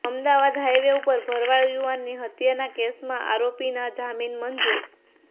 Ahmedabad highway ઉપર ભરવાડ યુવાનની હત્યાના કેસમાં આરોપીના જામીન મંજુર